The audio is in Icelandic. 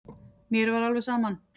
Mér var alveg saman.